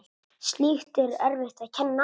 Slíkt er erfitt að kenna.